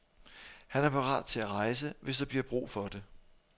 Han er parat til at rejse, hvis der bliver brug for det.